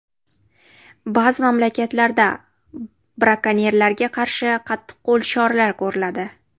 Ba’zi mamlakatlarda brakonyerlarga qarshi qattiqqo‘l choralar ko‘riladi.